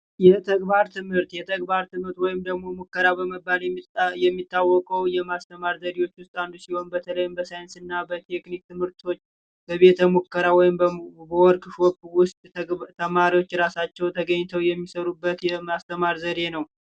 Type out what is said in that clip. የተግባር ትምህርት የተግባር ትምህርት ወይም ደግሞ ሙከራ በመባል የሚታወቀው የማስተማር ዘዴዎችን አንዱ ሲሆን በተለይም በሳይንስና ትምህርቶች በቤተሙከራ ወይም በወርቅ ውስጥ ተማሪዎች ራሳቸው ተገኝተው የሚሰሩበት የማስተማር ዘዴ ነው